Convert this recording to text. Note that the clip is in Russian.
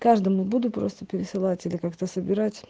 каждому буду просто пересылать это как-то собирать